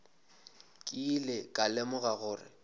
ke ile ka lemoga gore